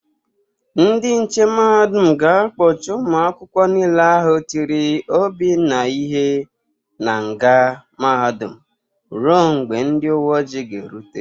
Ndị nche mahadum ga-akpọchị ụmụ akwụkwọ niile ahụ tiri Obinna ihe n'nga mahadum rue mgbe ndị uwe oji ga-erute.